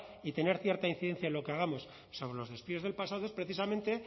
y tener cierta incidencia en lo que hagamos sobre los despidos del pasado es precisamente